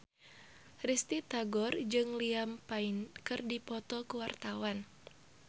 Risty Tagor jeung Liam Payne keur dipoto ku wartawan